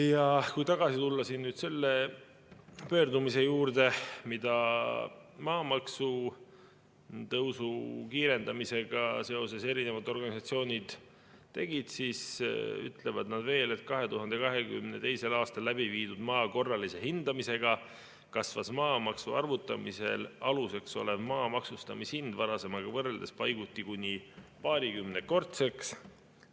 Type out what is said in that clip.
Ja kui tagasi tulla selle pöördumise juurde, mis maamaksu tõusu kiirendamisega seoses erinevad organisatsioonid tegid, siis ütlevad nad veel, et 2022. aastal läbi viidud maa korralise hindamisega kasvas maamaksu arvutamisel aluseks olev maa maksustamishind varasemaga võrreldes paiguti kuni paarikümnekordseks.